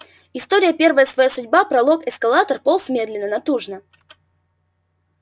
история первая своя судьба пролог эскалатор полз медленно натужно